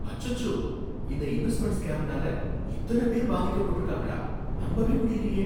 அச்சோ! இந்த இன்வெஸ்ட்மெண்ட் ஸ்கேம்னால இத்தன பேர் பாதிக்கப்பட்டிருக்காங்களா, நம்பவே முடியலயே